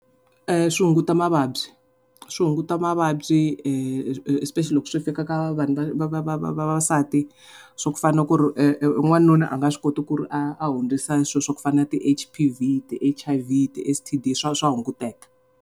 Swi hunguta mavabyi, swi hunguta mavabyi especially loko swi fika ka vanhu va va va vavasati swa ku fana ku ri wanuna a nga swi koti ku ri a a hundzisa swa ku fana na ti-H_P_V, ti-H_I_V, ti-S_T_D swa swa hunguteka.